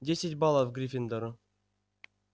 десять баллов гриффиндору